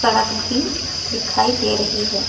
सड़क भी दिखाई दे रही हैं।